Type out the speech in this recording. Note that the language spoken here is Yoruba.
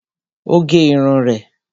O gé irun rẹ